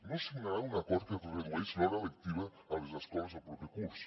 no signaran un acord que redueix l’hora lectiva a les escoles el proper curs